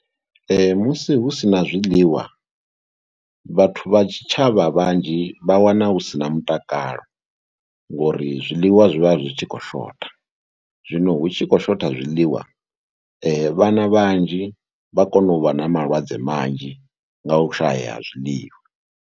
Musi hu si na zwiḽiwa vhathu vha tshitshavha vhanzhi vha wana hu si na mutakalo ngauri zwiḽiwa zwi vha zwi tshi khou shotha, zwino hu tshi khou shotha zwiḽiwa vhana vhanzhi vha kona u vha na malwadze manzhi nga u shayea ha zwiḽiwa.